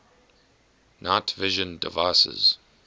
night vision devices